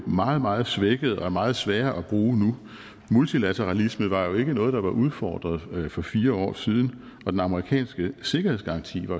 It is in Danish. meget meget svækkede og er meget svære at bruge nu multilateralismen var jo ikke noget der var udfordret for fire år siden og den amerikanske sikkerhedsgaranti var